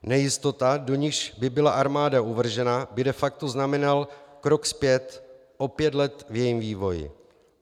Nejistota, do níž by byla armáda uvržena, by de facto znamenala krok zpět o pět let v jejím vývoji.